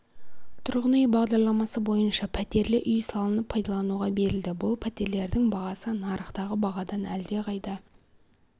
тұрғын үй бағдарламасы бойынша пәтерлі үй салынып пайдалануға берілді бұл пәтерлердің бағасы нарықтағы бағадан әлдеқайда